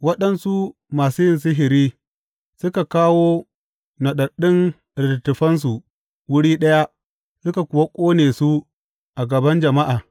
Waɗansu masu yin sihiri suka kawo naɗaɗɗun littattafansu wuri ɗaya suka kuwa ƙone su a gaban jama’a.